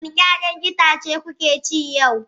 Wani 'ya'yan itace kuke ci yau?